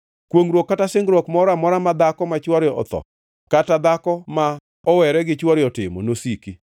“Kwongʼruok kata singruok moro amora ma dhako ma chwore otho kata dhako ma mowere gi chwore otimo nosiki.